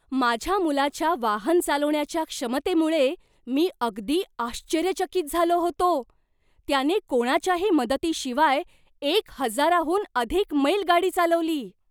माझ्या मुलाच्या वाहन चालवण्याच्या क्षमतेमुळे मी अगदी आश्चर्यचकित झालो होतो! त्याने कोणाच्याही मदतीशिवाय एक हजाराहून अधिक मैल गाडी चालवली!